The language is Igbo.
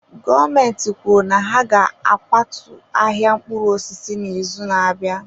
Gọọmentị kwuru na ha ga-akwatu ahịa mkpụrụ osisi n'izu na-abịa.